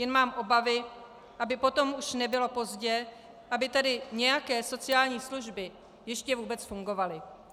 Jen mám obavy, aby potom už nebylo pozdě, aby tady nějaké sociální služby ještě vůbec fungovaly.